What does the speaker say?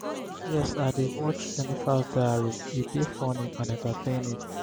yes i dey watch 'jenifa's diary' e dey funny and entertaining.